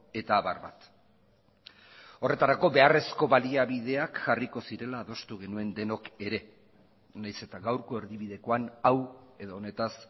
eta abar bat horretarako beharrezko baliabideak jarriko zirela adostu genuen denok ere nahiz eta gaurko erdibidekoan hau edo honetaz